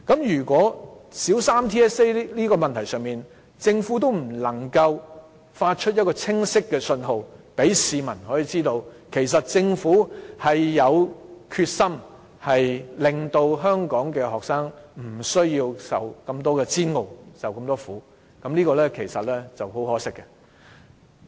如果在小三 TSA 的問題上，政府不能夠發出清晰的信號，讓市民知道政府有決心令香港學生不再受煎熬、受苦，其實這是很可惜的。